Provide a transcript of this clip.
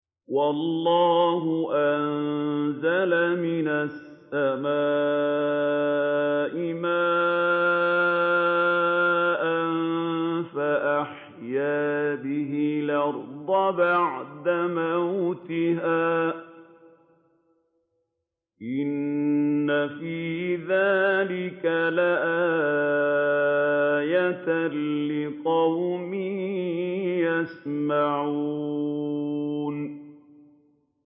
وَاللَّهُ أَنزَلَ مِنَ السَّمَاءِ مَاءً فَأَحْيَا بِهِ الْأَرْضَ بَعْدَ مَوْتِهَا ۚ إِنَّ فِي ذَٰلِكَ لَآيَةً لِّقَوْمٍ يَسْمَعُونَ